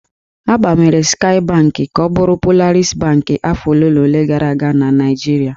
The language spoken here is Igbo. A gbanwere Skaị Bankị ka ọ bụrụ Polaris Bankị afọ ole na ole gara aga na Naịjirịa.